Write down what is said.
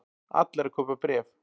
Allir að kaupa bréf